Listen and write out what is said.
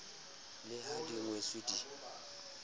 le ha di ngotswe di